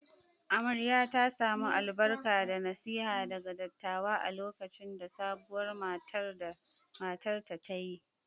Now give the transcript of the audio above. Amarya ta samu albarka da nasiha daga dattawa a lokacin da sabuwar matar ta ta yi.